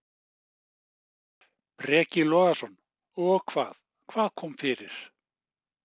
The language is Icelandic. Breki Logason: Og hvað, hvað kom fyrir?